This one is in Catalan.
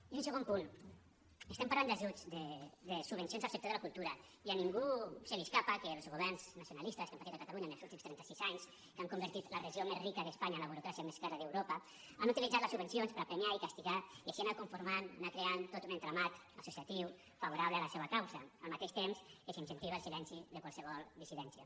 i un segon punt estem parlant d’ajuts de subvencions al sector de la cultura i a ningú se li escapa que els governs nacionalistes que hem patit a catalunya en els últims trentasis anys que han convertit la regió més rica d’espanya en la burocràcia més cara d’europa han utilitzat les subvencions per a premiar i castigar i així anar conformant anar creant tot un entramat associatiu favorable a la seva causa al mateix temps que s’incentiva el silenci de qualsevol dissidència